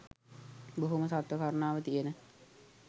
බොහොම සත්ව කරුණාව තියෙන